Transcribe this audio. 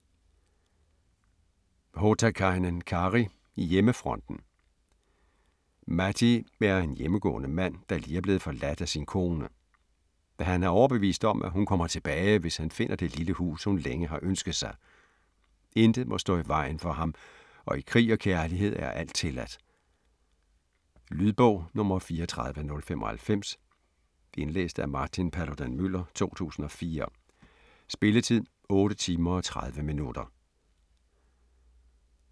Hotakainen, Kari: Hjemmefronten Matti er en hjemmegående mand, der lige er blevet forladt af sin kone. Han er overbevist om, at hun kommer tilbage hvis han finder det lille hus hun længe har ønsket sig. Intet må stå i vejen for ham og i krig og kærlighed er alt tilladt. Lydbog 34095 Indlæst af Martin Paludan-Müller, 2004. Spilletid: 8 timer, 30 minutter.